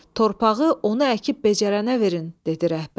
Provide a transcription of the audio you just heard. Torpağı onu əkib becərənə verin", dedi rəhbər.